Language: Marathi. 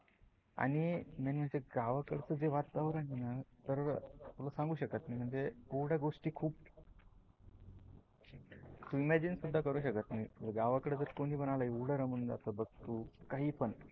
आणि मेनली ते गावाकडच जे वातावरण आहे न तर तुला सांगू शकत नाही म्हणजे एवडे गोष्टी खुप तु इम्याजीन सुद्धा करू शकत नाही. गावाकड जर कोणीपण आल ना.